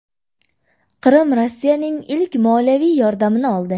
Qrim Rossiyaning ilk moliyaviy yordamini oldi.